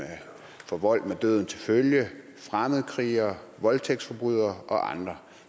for vold med døden til følge fremmedkrigere voldtægtsforbrydere og andre